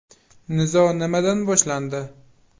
Nizo nimadan boshlandi?